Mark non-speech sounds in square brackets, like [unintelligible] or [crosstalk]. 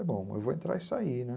[unintelligible] bom, eu vou entrar e sair, né?